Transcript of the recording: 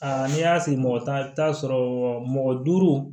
Aa n'i y'a sigi mɔgɔ tan sɔrɔ mɔgɔ duuru